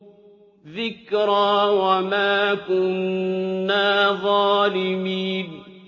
ذِكْرَىٰ وَمَا كُنَّا ظَالِمِينَ